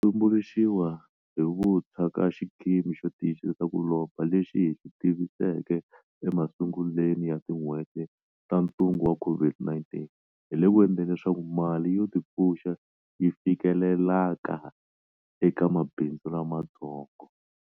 Hi ku tumbuluxiwa hi vuntshwa ka xikimi xo tiyisisa ku lomba lexi hi xi tiviseke emasunguleni ya tin'hweti ta ntungu wa COVID-19, hi le ku endleni leswaku mali yo 'tipfuxa'yi fikelelaka eka mabindzu lamatsongo.